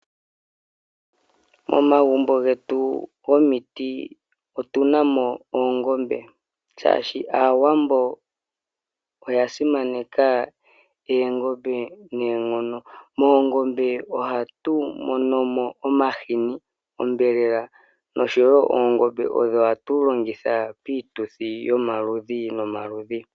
Momagumbo getu gomiti otu na mo oongombe, shaashi Aawambo oya simaneka oongombe noonkondo. Moongombe ohatu mono mo omahini, onyama noshowo oongombe odho hatu longitha piituthi yomaludhi nomaludhi.